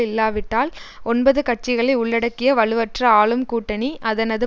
இல்லாவிட்டால் ஒன்பது கட்சிகளை உள்ளடக்கிய வலுவற்ற ஆளும் கூட்டணி அதனது